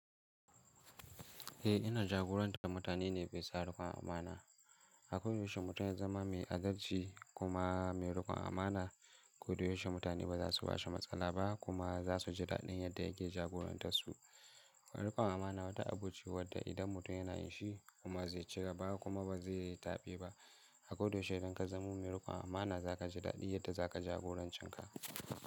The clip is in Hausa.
Eh ina jagoranta mutane ne amana rikon amana. Akwai yaushe mutum ya zama mai adalci kuma mai rikon amana, kodayaushe mutane ba za su bashi matsala ba kuma za su ji daɗin yadda yake jagorantar su. Rikon amana wata abu ce wadda idan mutum yana yi shi kuma zai cigaba kuma ba zai yi taɓe ba. Akoda yaushe idan ka zama mai rikon amana za ka ji daɗi yadda za ka jagoranci ka.